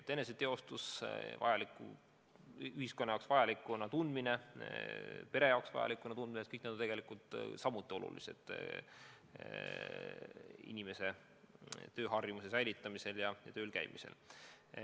Eneseteostus, enese ühiskonna jaoks vajalikuna tundmine, pere jaoks vajalikuna tundmine – kõik need asjad on samuti olulised inimese tööharjumuse hoidmisel ja tööl käimisel.